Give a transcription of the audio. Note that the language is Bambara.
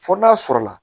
Fo n'a sɔrɔ la